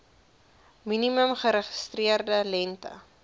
minimum geregistreerde lengte